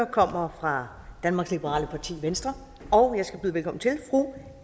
kommer fra danmarks liberale parti venstre og jeg skal byde velkommen til fru